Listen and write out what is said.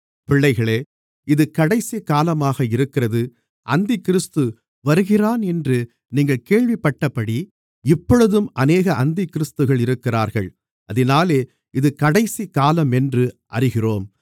பிள்ளைகளே இது கடைசி காலமாக இருக்கிறது அந்திக்கிறிஸ்து வருகிறானென்று நீங்கள் கேள்விப்பட்டபடி இப்பொழுதும் அநேக அந்திக்கிறிஸ்துகள் இருக்கிறார்கள் அதினாலே இது கடைசிக்காலமென்று அறிகிறோம்